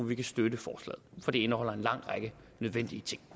vi kan støtte forslaget for det indeholder en lang række nødvendige ting